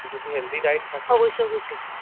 যদি healthy diet থাকে, অবশ্যই অবশ্যই,